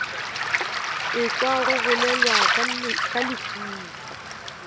ekwa go bolelwa ka lehufa